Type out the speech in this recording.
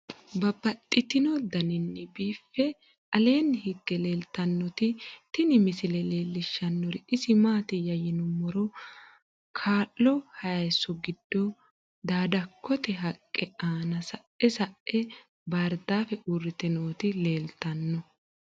Babaxxittinno daninni biiffe aleenni hige leelittannotti tinni misile lelishshanori isi maattiya yinummoro kalo hayiisso giddo daadakotte haqqe nna sae sae baaridaaffe uuritte nootti leelittanno